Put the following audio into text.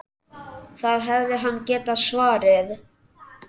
Það hefði hann getað svarið.